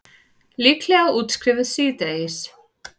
Líklega útskrifuð síðdegis